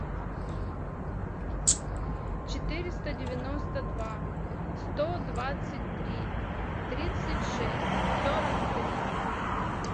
четыреста девяносто два сто двадцать три тридцать шесть сорок три